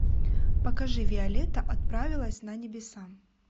покажи виолетта отправилась на небеса